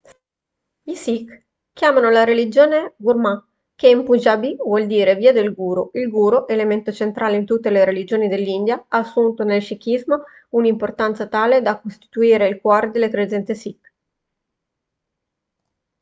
i sikh chiamano la loro religione gurmat che in punjabi vuol dire via del guru il guru elemento centrale in tutte le religioni dell'india ha assunto nel sikhismo un'importanza tale da costituire il cuore delle credenze sikh